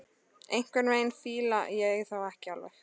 Einhvern veginn fíla ég þá ekki alveg.